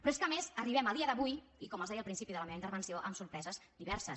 però és que a més arribem a dia d’avui i com els deia al principi de la meva intervenció amb sorpreses diverses